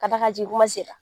K'a d'a kan a jigin kuma sera